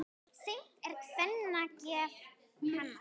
Seint er kvenna geð kannað.